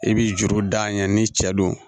I b'i juru da ɲɛ ni cɛ don